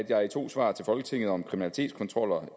jeg i to svar til folketinget om kriminalitetskontroller